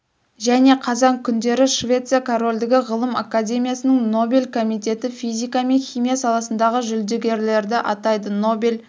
және қазан күндері швеция корольдігі ғылым академиясының нобель комитеті физика мен химия саласындағы жүлдегерлерді атайды нобель